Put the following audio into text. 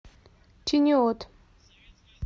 чиниот